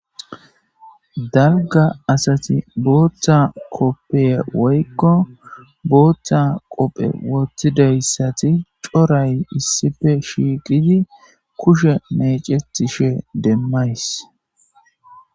dalga asati booththa koppeye woykko booththa qophe wottidayssati coray issife shiiqidi kushe mecetishe demmays